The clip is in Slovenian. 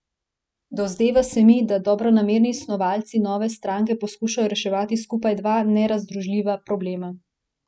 Dozdeva se mi, da dobronamerni snovalci nove stranke poskušajo reševati skupaj dva nezdružljiva problema.